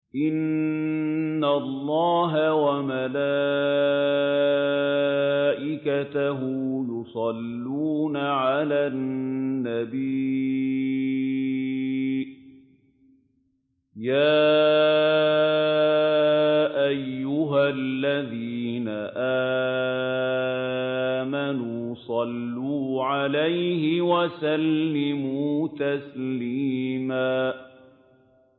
إِنَّ اللَّهَ وَمَلَائِكَتَهُ يُصَلُّونَ عَلَى النَّبِيِّ ۚ يَا أَيُّهَا الَّذِينَ آمَنُوا صَلُّوا عَلَيْهِ وَسَلِّمُوا تَسْلِيمًا